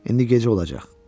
İndi gecə olacaq.